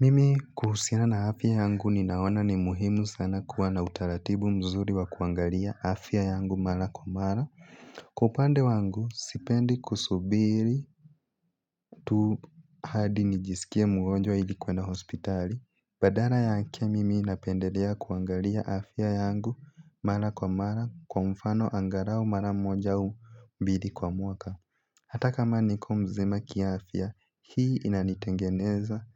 Mimi kuhusiana na afya yangu ninaona ni muhimu sana kuwa na utaratibu mzuri wa kuangalia afya yangu mara kwa mara. Kwa upande wangu sipendi kusubiri tu hadi nijisikie mgonjwa ili kueanda hospitali, badala yake mimi napendelea kuangalia afya yangu mara kwa mara kwa mfano angalau mara moja au mbili kwa mwaka. Hata kama niko mzima kiafya, hii inanitengeneza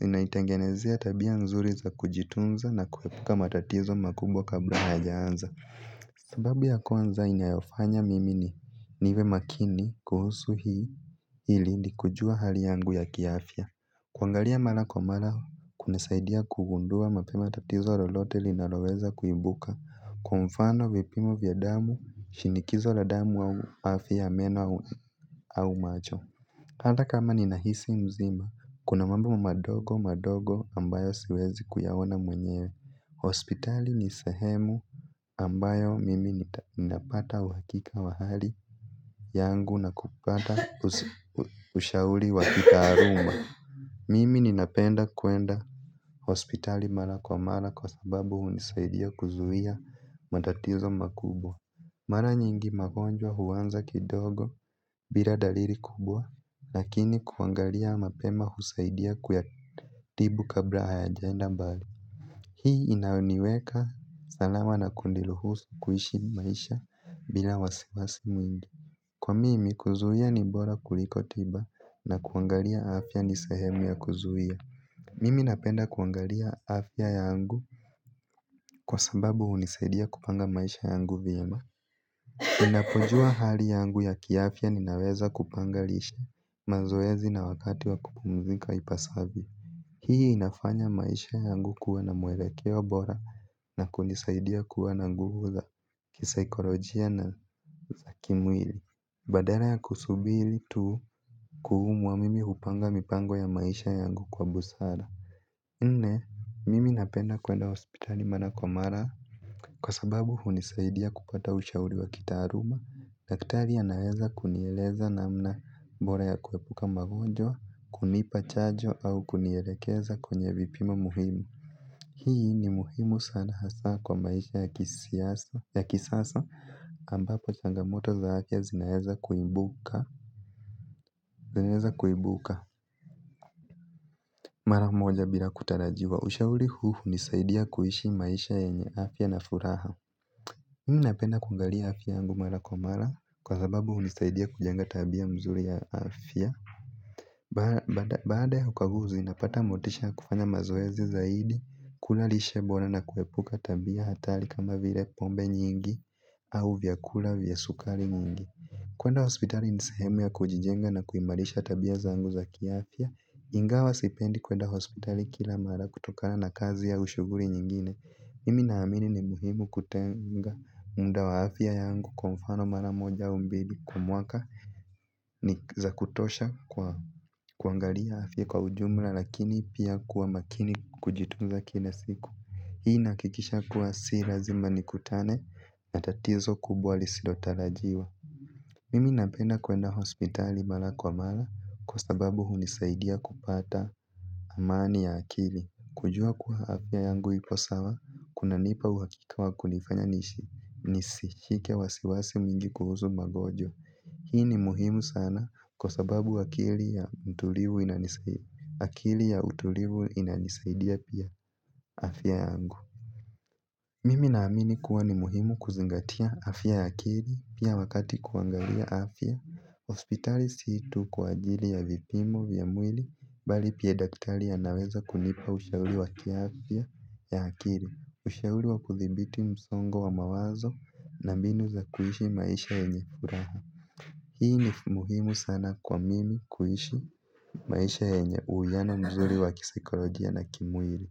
inaitengenezea tabia nzuri za kujitunza na kuepuka matatizo makubwa kabla hayajaanza. Sababu ya kwanza inayofanya mimi ni, niwe makini kuhusu hii ili ni kujua hali yangu ya kiafya. Kuangalia mara kwa mara kunasaidia kugundua mapema tatizo lolote linaloweza kuibuka kwa mfano vipimo vya damu, shinikizo la damu au afya ya meno au macho. Hata kama ninahisi mzima, kuna mambo madogo madogo ambayo siwezi kuyaona mwenyewe. Hospitali ni sehemu ambayo mimi ninapata uhakika wa hali yangu na kupata ushauri wa kitaaluma. Mimi ninapenda kuenda hospitali mara kwa mara kwa sababu hunisaidia kuzuia matatizo makubwa. Mara nyingi magonjwa huanza kidogo bila dalili kubwa, lakini kuangalia mapema husaidia kuyatibu kabla hayajaenda mbali. Hii inaniweka salama na kuniruhusu kuishi maisha bila wasiwasi mwingi. Kwa mimi, kuzuia ni bora kuliko tiba na kuangalia afya ni sehemu ya kuzuia. Mimi napenda kuangalia afya yangu kwa sababu hunisaidia kupanga maisha yangu vyema. Ninapojua hali yangu ya kiafya ninaweza kupanga lishe, mazoezi na wakati wa kupumzika ipasavyo. Hii inafanya maisha yangu kuwa na mwelekeo bora na kunisaidia kuwa na nguvu za kisaikolojia na za kimwili. Badala ya kusubiri tu kuumwa mimi hupanga mipango ya maisha yangu kwa busara. Nne, mimi napenda kuenda hospitali mara kwa mara. Kwa sababu, hunisaidia kupata ushauri wa kitaaluma. Daktari anaweza kunieleza namna bora ya kuepuka magonjwa, kunipa chanjo au kunielekeza kwenye vipimo muhimu. Hii ni muhimu sana hasa kwa maisha ya kisasa. Ambapo changamoto zake zinaeza kuibuka. Zinaeza kuibuka mara moja bila kutarajiwa. Ushauri huu hunisaidia kuishi maisha yenye afya na furaha. Mimi napenda kungalia afya yangu mara kwa mara kwa sababu hunisaidia kujenga tabia mzuri ya afya. Baada ya ukaguzi napata motisha ya kufanya mazoezi zaidi kula lishe bora na kuepuka tabia hatari kama vile pombe nyingi au vyakula vya sukari nyingi. Kuenda hospitali ni sehemu ya kujijenga na kuimarisha tabia zangu za kiafya. Ingawa sipendi kuenda hospitali kila mara kutokana na kazi au shughuli nyingine. Mimi naamini ni muhimu kutenga mda wa afya yangu kwa mfano mara moja au mbili kwa mwaka ni za kutosha kuangalia afya kwa ujumla lakini pia kuwa makini kujitunza kila siku. Hii inahakikisha kuwa si lazima nikutane na tatizo kubwa lisilotarajiwa. Mimi napenda kuenda hospitali mara kwa mara kwa sababu hunisaidia kupata amani ya akili. Kujua kuwa afya yangu ipo sawa, kunanipa uhakika wa kunifanya niishi nisishike wasiwasi mwingi kuhusu magonjwa. Hii ni muhimu sana kwa sababu akili ya utulivu akili ya utulivu inanisaidia pia afya yangu. Mimi naamini kuwa ni muhimu kuzingatia afya ya akili, pia wakati kuangalia afya. Hospitali si tu kwa ajili ya vipimo vya mwili, bali pia daktari anaweza kunipa ushauri wa kiafya ya akili. Ushauri wa kuthibiti msongo wa mawazo na mbinu za kuishi maisha yenye furaha. Hii ni muhimu sana kwa mimi kuishi maisha yenye uwiano mzuri wa kisaikolojia na kimwili.